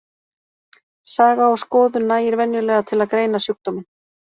Saga og skoðun nægir venjulega til að greina sjúkdóminn.